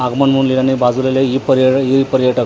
आगमन म्हणून लिहिलं नाही बाजूला लिह ई पर्य ई पर्यटक आन--